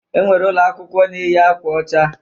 E nwere ụlọakwụkwọ na-eyi akwa ọcha.